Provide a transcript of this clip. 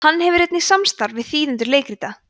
hann hefur einnig samstarf við þýðendur leikrita